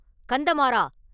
கந்தமாறா!